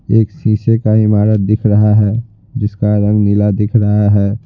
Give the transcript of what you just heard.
एक शीशे का ईमारत दिख रहा है जिसका रंग नीला दिख रहा है।